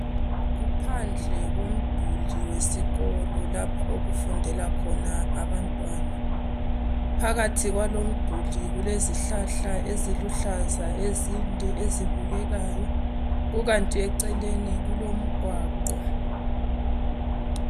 Kuphandle komduli wesikolo lapha okufundela khona abantwana. Phakathi kwalomduli kulezihlahla eziluhlaza ezinde ezibukekayo kukanti eceleni kulomgwaqo.